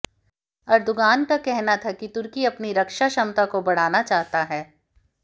Erdogan का कहना था कि तुर्की अपनी रक्षा क्षमता को बढ़ाना चाहता है